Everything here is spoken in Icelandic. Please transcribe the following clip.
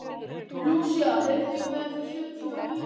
Lúsía, heyrðu í mér eftir sjötíu og níu mínútur.